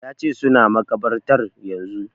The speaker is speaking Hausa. Ya ce suna makabartar yanzu